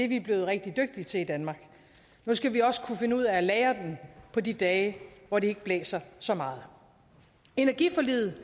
vi blevet rigtig dygtige til i danmark nu skal vi også kunne finde ud af at lagre den på de dage hvor det ikke blæser så meget energiforliget